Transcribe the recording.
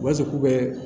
U b'a fɔ k'u bɛ